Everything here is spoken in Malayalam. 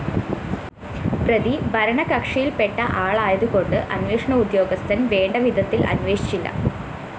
പ്രതി ഭരണകക്ഷിയില്‍പ്പെട്ട ആളായതുകൊണ്ട് അന്വേഷണ ഉദ്യോഗസ്ഥന്‍ വേണ്ടവിധത്തില്‍ അന്വേഷിച്ചില്ല